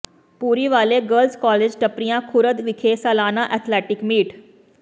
Bhuriwale girls college Tappariyan Khurd ਵਿਖੇ ਸਾਲਾਨਾ athletic meat